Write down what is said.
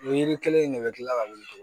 O yiri kelen in de bɛ kila ka wuli